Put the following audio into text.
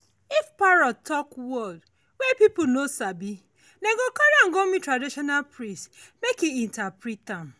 if parrot dey talk word wey people no sabi dem go carry am go meet traditional priest make e interpret am.